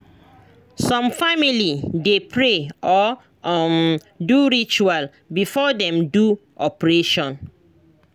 some family de pray or um do ritual before dem do operation